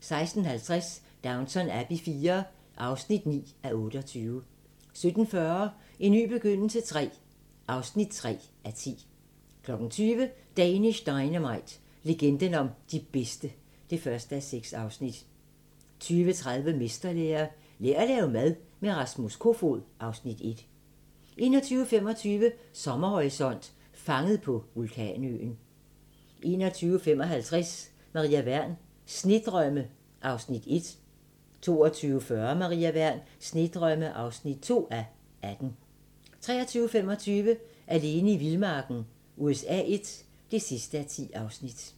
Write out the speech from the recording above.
16:50: Downton Abbey IV (9:28) 17:40: En ny begyndelse III (3:10) 20:00: Danish Dynamite - legenden om de bedste (1:6) 20:30: Mesterlære - Lær at lave mad med Rasmus Kofoed (Afs. 1) 21:25: Sommerhorisont: Fanget på vulkanøen 21:55: Maria Wern: Snedrømme (1:18) 22:40: Maria Wern: Snedrømme (2:18) 23:25: Alene i vildmarken USA I (10:10)